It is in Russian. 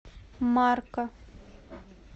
марка